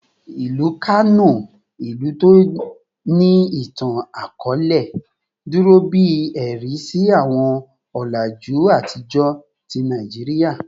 Ilu Kano, ilu ti o ni itan-akọọlẹ, duro bi ẹ̀rí si awọn ọlaju atijọ ti Naijiria